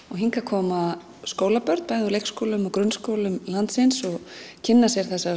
og hingað koma skólabörn bæði úr leikskólum og grunnskólum landsins og kynna sér þessar